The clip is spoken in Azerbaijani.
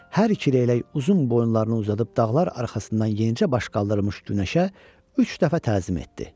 Hər iki leylək uzun boyunlarını uzadıb dağlar arxasından yenicə baş qaldırmış günəşə üç dəfə təzim etdi.